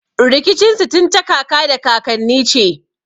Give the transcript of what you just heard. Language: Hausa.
Rikicin su tun ta kaka da kakanni ce.